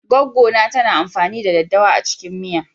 Goggo na tana amfani da ɗaddawa a cikin miya.